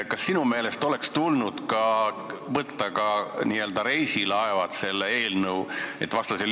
Kas sinu meelest oleks tulnud võtta ka reisilaevad sellesse eelnõusse?